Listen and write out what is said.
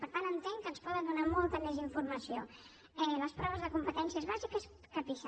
per tant entenc que ens donen molta més informació les proves de competències bàsiques que pisa